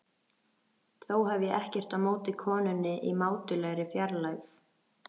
Þó hef ég ekkert á móti konunni í mátulegri fjarlægð.